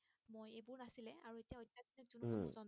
উম